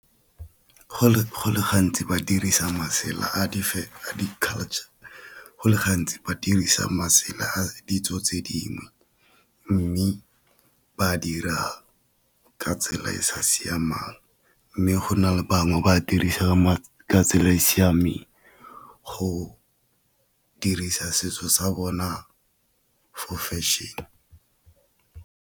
Go le gantsi ba dirisa masela a di culture, go le gantsi ba dirisa masela a ditso tse dingwe, mme ba a dirang ka tsela e e sa siamang. Mme go na le bangwe ba dirisa ka tsela e e siameng go dirisa setso sa bona for fashion.